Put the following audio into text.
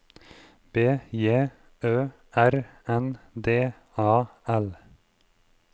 B J Ø R N D A L